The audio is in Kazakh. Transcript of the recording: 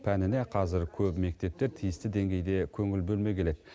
пәніне қазір көп мектепте тиісті деңгейде көңіл бөлмей келеді